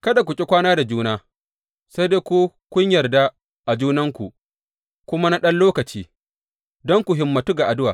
Kada ku ƙi kwana da juna sai ko kun yarda a junanku kuma na ɗan lokaci, don ku himmantu ga addu’a.